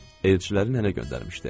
Elçiləri nənə göndərmişdi.